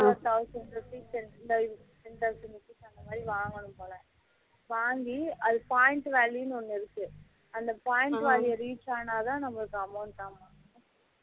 thousand rupees ten thousand rupees அந்த மாதிரி வாங்கணும் போல வாங்கி அது point value ஒண்ணு இருக்கு அந்த point value reach ஆனா தான் நமக்கு amount ஆம்